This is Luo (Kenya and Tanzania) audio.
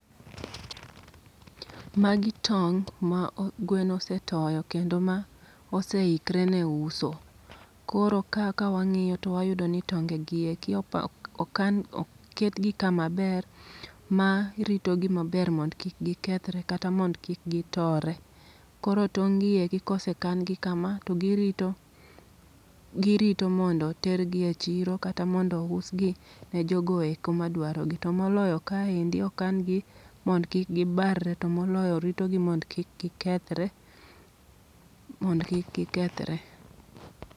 Magi tong' ma o gwen osetoyo, kendo ma oseikre ne uso. Koro ka kawang'iyo to wayudo ni tonge gieki oketgi kama ber, ma rito gi maber mond kik gikethre kata mond kik gi tore. Koro tong' gieki kose kan gi kama, to girito girito mondo tergi e chiro kata mondo us gi ne jogo eko ma dwaro gi. To moloyo kaendi okan gi mond kik gibar re, to moloyo ritogi mond kik gikethre mond kik gikethre.